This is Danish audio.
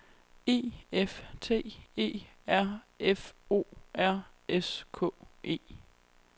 E F T E R F O R S K E